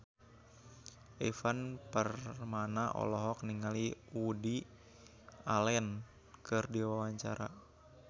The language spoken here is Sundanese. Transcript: Ivan Permana olohok ningali Woody Allen keur diwawancara